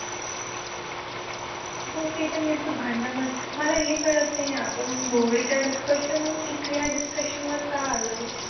हो ते तर मी असं भांडणा भांडणा मला एक कळत नाही आहे आपण movie च्या discussion वरून इथे या discussion वर का आलोय?